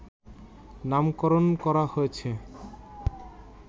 নামকরণ করা হয়েছে